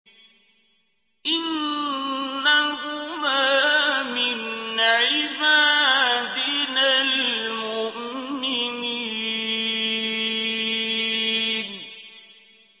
إِنَّهُمَا مِنْ عِبَادِنَا الْمُؤْمِنِينَ